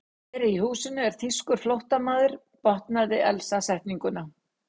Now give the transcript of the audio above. Hér í húsinu er þýskur flóttamaður botnaði Elsa setninguna.